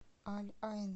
аль айн